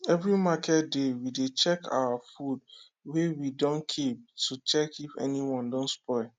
every market day we dey check our food wey we dun keep to check if anyone don spoil